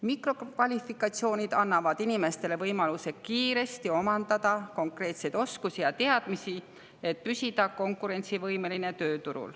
Mikrokvalifikatsioonid annavad inimestele võimaluse kiiresti omandada konkreetseid oskusi ja teadmisi, et püsida tööturul konkurentsivõimeline.